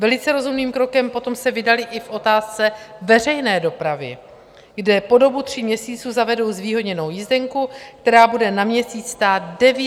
Velice rozumným krokem se potom vydali i v otázce veřejné dopravy, kde po dobu tří měsíců zavedou zvýhodněnou jízdenku, která bude na měsíc stát 9 eur.